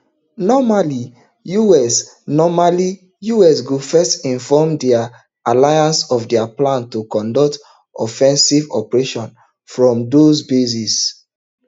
normally us normally us go first inform dia ally of dia plan to conduct offensive operations from those bases